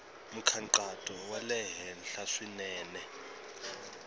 nkhaqato wa le henhla swinene